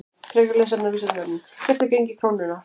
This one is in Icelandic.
Frekara lesefni á Vísindavefnum: Hvert er gengi krónunnar?